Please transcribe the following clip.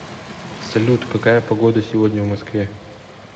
салют какая погода сегодня в москве